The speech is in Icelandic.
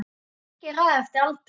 Fólki er raðað eftir aldri